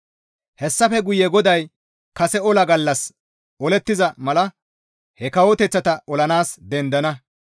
Hessafe guye GODAY kase ola gallas olettiza mala he kawoteththata olanaas dendana.